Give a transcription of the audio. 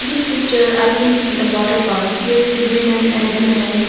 This picture I can see a water park there is a woman and a man.